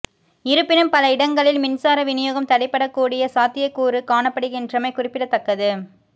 இருப்பினும் பல இடங்களில் மின்சார விநியோகம் தடைப்படக்கூடிய சாத்தியக்கூறு காணப்படுகின்றமை குறிப்பிடத்தக்கது